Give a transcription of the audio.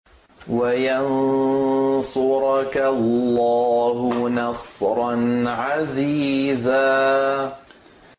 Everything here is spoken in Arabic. وَيَنصُرَكَ اللَّهُ نَصْرًا عَزِيزًا